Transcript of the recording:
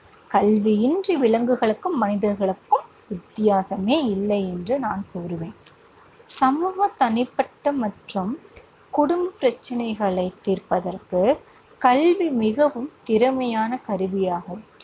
கல்வியின்றி விலங்குகளுக்கும் மனிதர்களுக்கும் வித்தியாசமே இல்லை என்று நான் கூறுவேன். சமூக, தனிப்பட்ட மற்றும் குடும்ப பிரச்சினைகளைத் தீர்ப்பதற்கு கல்வி மிகவும் திறமையான கருவியாகும்.